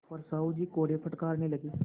पर साहु जी कोड़े फटकारने लगे